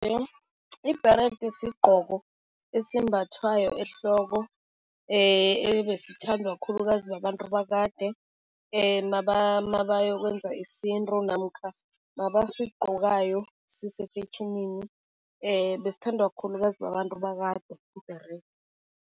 Ibherede sigqoko esimbathwayo ehloko ebesithandwa khulukazi babantu bakade mabayokwenza isintu namkha mabasigqokayo sisefetjhenini, besithandwa khulukazi babantu bakade ibherede.